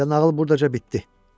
Elə nağıl buradaca bitdi.